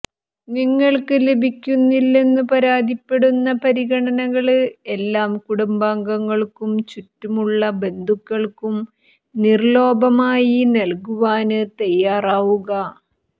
നിങ്ങള്ക്ക് ലഭിക്കുന്നില്ലെന്നു പരാതിപ്പെടുന്ന പരിഗണനകള് എല്ലാം കുടുംബാംഗങ്ങള്ക്കും ചുറ്റുമുള്ള ബന്ധുക്കള്ക്കും നിര്ലോപമായി നല്കുവാന് തയ്യാറാവുക